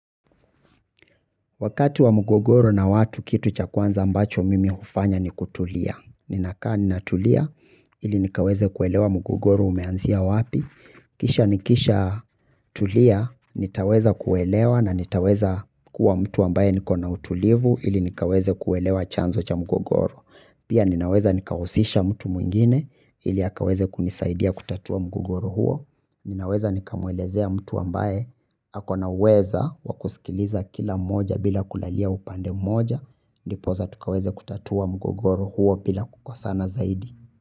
Wakati wa mugogoro na watu kitu cha kwanza ambacho mimi ufanya ni kutulia. Ninakaa ninatulia ili nikaweze kuelewa mugogoro umeanzia wapi. Kisha nikisha tulia nitaweza kuelewa na nitaweza kuwa mtu ambaye niko na utulivu ili nikaweze kuelewa chanzo cha mugogoro. Pia ninaweza nikausisha mtu mwingine ili akaweze kunisaidia kutatua mugogoro huo. Ninaweza nikamwelezea mtu ambaye ako na uweza wa kusikiliza kila mmoja bila kulalia upande mmoja. Ndiposa tukaweze kutatua mgogoro huo bila kukosana zaidi.